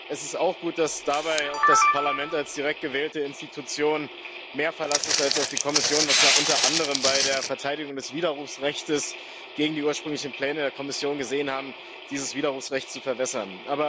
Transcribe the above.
Es ist auch gut, dass dabei auf das Parlament als direkt gewählte Institution mehr Verlass ist als auf die Kommission, was wir unter anderem bei der Verteidigung des Widerrufsrechts gegen die ursprünglichen Pläne der Kommission gesehen haben, dieses Widerrufsrecht zu verwässern.